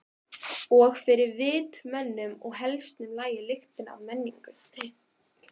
Og fyrir vit mönnum og hestum lagði lyktina af menningunni.